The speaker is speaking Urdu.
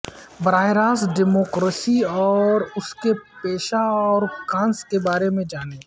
براہ راست ڈیموکراسی اور اس کے پیشہ اور کانس کے بارے میں جانیں